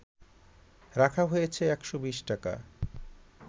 রাখা হয়েছে ১২০ টাকা